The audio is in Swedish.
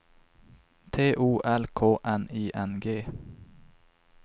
T O L K N I N G